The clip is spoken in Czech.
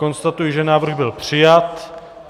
Konstatuji, že návrh byl přijat.